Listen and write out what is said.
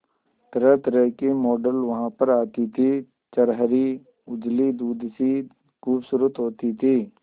तरहतरह की मॉडल वहां पर आती थी छरहरी उजली दूध सी खूबसूरत होती थी